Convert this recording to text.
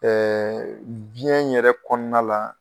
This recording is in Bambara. biyɛn yɛrɛ kɔɔna la